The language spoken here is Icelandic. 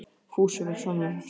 Fúsi var sannfærandi.